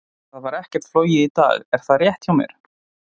Það var ekkert flogið í dag, er það rétt hjá mér?